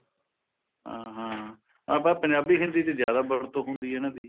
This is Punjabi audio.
ਹਾਂ ਹਾਂ ਆਪਾਂ ਪੰਜਾਬੀ ਹਿੰਦੀ ਹਿੰਦੀ ਵਿੱਚ ਜਿਆਦਾ ਵਰਤੋ ਹੁੰਦੀ ਹੈ ਇਹਨਾ ਦੀ